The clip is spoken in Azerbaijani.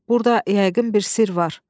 Burada yəqin bir sirr var.